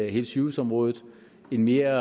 hele sygehusområdet en mere